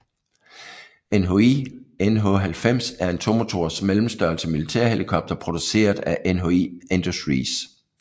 NHI NH90 er en tomotors mellemstørrelse militær helikopter produceret af NHIndustries